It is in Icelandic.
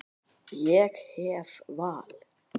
Ég hef val.